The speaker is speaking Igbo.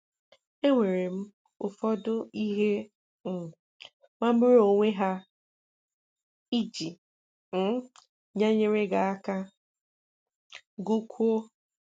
Enwèrè m ụfọdụ ihe um magbùrù onwe à iji um nyere gị aka GỤKWÙO